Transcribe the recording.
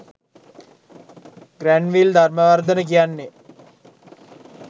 Granville Dharmawardhana කියන්නේ